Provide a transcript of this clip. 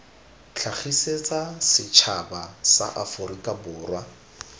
tlhagisetsa setšhaba sa aforika borwa